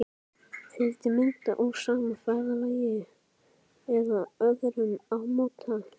Fjöldi mynda úr sama ferðalagi eða öðrum ámóta.